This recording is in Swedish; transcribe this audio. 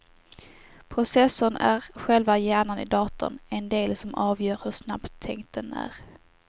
Processorn är själva hjärnan i datorn, den del som avgör hur snabbtänkt den är.